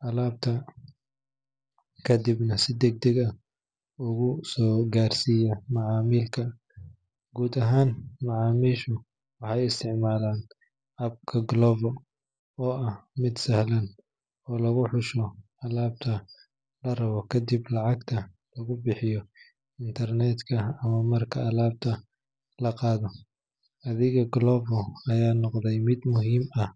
dalabka kadibna si degdeg ah ugu soo gaarsiiya macaamilka. Guud ahaan, macaamiishu waxay isticmaalaan app-ka Glovo oo ah mid sahlan oo lagu xusho alaabta la rabo, kadibna lacagta lagu bixiyo internet-ka ama marka alaabta la qaato. Adeegga Glovo ayaa noqday mid muhiim ah